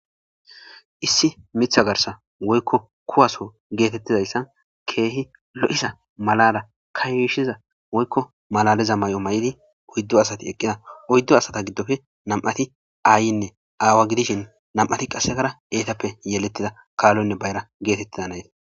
Issi mitha garsa woykko kuwaso geetettidayssan keehi lo'za malala ka yiishiza woykko malaliza may7o may'di oyddo asati eqqida oyddo asata giddofe namti aayinne aawa gidishin nam'ti qassekara eetappe yeletida kaallonne bayra geetettida nayti.